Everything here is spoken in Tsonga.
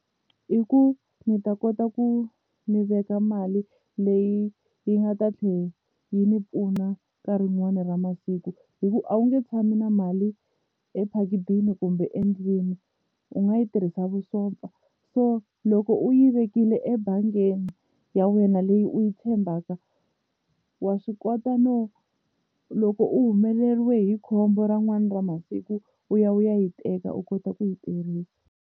I ku ni ta kota ku ni veka mali leyi yi nga ta tlhela yi ni pfuna nkarhi rin'wani ra masiku hi ku a wu nge tshami na mali ephakithini kumbe endlwini u nga yi tirhisa vusopfa so loko u yi vekile ebangini ya wena leyi u yi tshembaka wa swi kota no loko u humeleriwe hi khombo ra masiku u ya u ya yi teka u kota ku yi tirhisa.